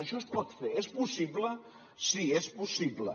això es pot fer és possible sí és possible